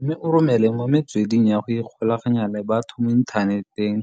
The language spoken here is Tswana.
mme o romele mo metsweding ya go ikgolaganya le batho mo inthaneteng.